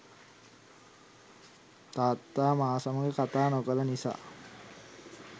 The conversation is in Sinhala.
තාත්තා මා සමග කතා නොකළ නිසා